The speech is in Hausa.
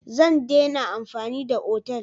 Zan daina amfani da otal.